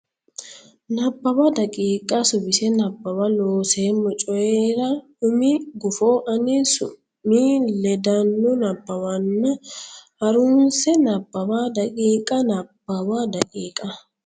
Nabbawa daqiiqa Suwise Nabbawa Looseemmo Coyi ra umi gufo ani Su mi ledaano nabbawanna ha runse Nabbawa daqiiqa Nabbawa daqiiqa.